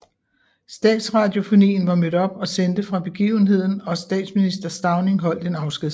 Statsradiofonien var mødt op og sendte fra begivenheden og statsminister Stauning holdt en afskedstale